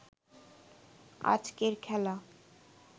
আজকের খেলা